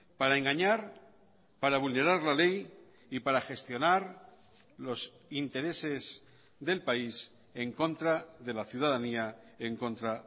para engañar para vulnerar la ley y para gestionar los intereses del país en contra de la ciudadanía en contra